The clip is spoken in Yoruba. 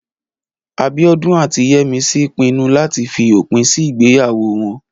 Abíọ́dún àti Yẹ́misí pinnu láti fi òpin sí ìgbéyàwó wọn